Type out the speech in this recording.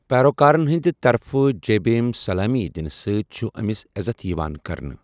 پیروکارَن ہٕنٛدِ طرفہٕ جے بھیم سلٲمی دِنہٕ سۭتۍ چھ، أمِس عزت یِوان کرنہٕ۔